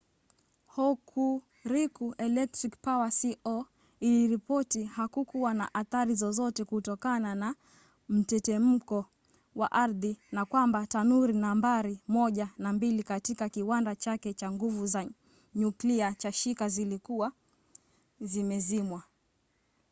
hokuriku electric power co. iliripoti hakukuwa na athari zozote kutokana na mtetemeko wa ardhi na kwamba tanuri nambari 1 na 2 katika kiwanda chake cha nguvu za nyuklia cha shika zilikuwa zimezimwa